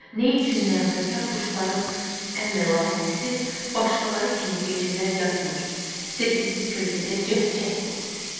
Nə üçün nəğməkar quşların ən məlahətlisi başqaları kimi gecələr yatmır, sehrli kölgədə cəhcəh vurur?